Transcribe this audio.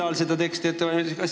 Millal seda teksti ette valmistati?